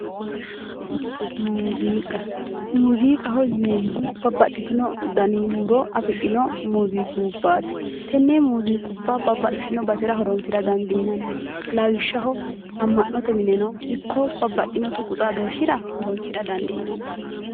Muziiqa, muziiqaho yineemmohu babbaxitino danni huuro affidhino muziiqqubbati tenne muziiqqubba babbaxitino basera horonsira dandiinanni lawishshaho ama'note minenno ikko babbaxino tuqu xaadoshshira horonsira dandiinanni